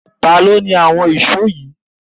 Ta ni ó ni àwọn ìṣó yìí?